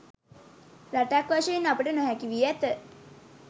රටක් වශයෙන් අපට නොහැකි වී ඇත.